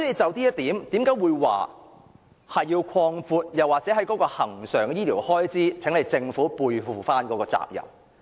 就這一點，我要求政府擴闊恆常醫療開支，背負其應該承擔的責任。